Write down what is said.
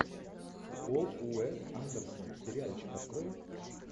пол уэс андерсон сериальчик открой